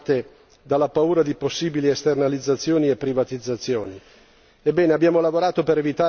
Numerose sono state le critiche animate dalla paura di possibili esternalizzazioni e privatizzazioni.